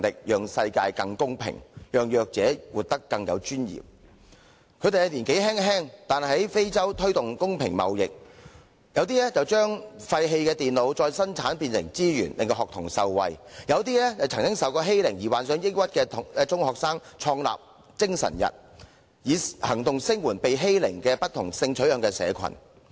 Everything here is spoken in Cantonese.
雖然他們年輕，但有些已在非洲推動公平貿易，有些把廢棄的電腦再生產變成資產惠及學童，有些曾受欺凌而患上抑鬱的中學生則創立"精神日"，以行動聲援被欺凌並有不同性取向社群。